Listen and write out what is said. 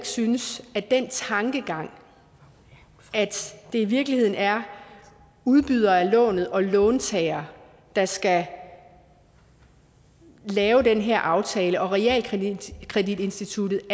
synes at den tankegang at det i virkeligheden er udbyder af lånet og låntager der skal lave den her aftale med realkreditinstituttet